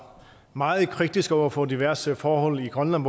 meget kritisk over for diverse forhold i grønland